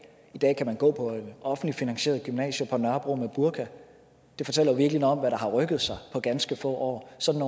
i dag kan man gå på et offentligt finansieret gymnasie på nørrebro med burka det fortæller virkelig noget om hvad der har rykket sig på ganske få år sådan